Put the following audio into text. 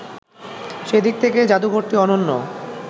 সেদিক থেকে জাদুঘরটি অনন্য